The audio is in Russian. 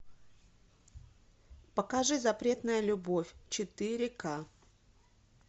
покажи запретная любовь четыре ка